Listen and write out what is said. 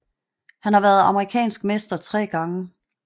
Han har været amerikansk mester tre gange